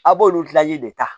A b'olu de ta